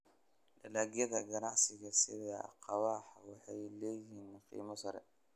Dalagyada ganacsiga sida kahawa waxay leeyihiin qiimo sare.